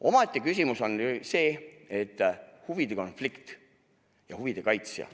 Omaette küsimus on see, mis puudutab huvide konflikti ja huvide kaitsjat.